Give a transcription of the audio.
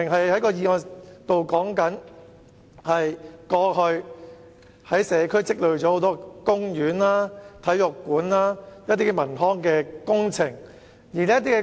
我的議案其實與社區有待進行的公園、體育館等康文工程有關。